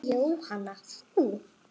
Jóhanna: Þú?